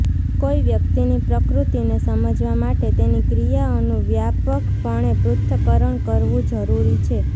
કોઈ વ્યક્તિની પ્રકૃતિને સમજવા માટે તેની ક્રિયાઓનું વ્યાપકપણે પૃથ્થકરણ કરવું જરૂરી છે